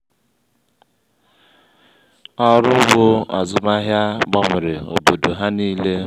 ọrụ ugbo azụmahịa gbanwere obodo há niile.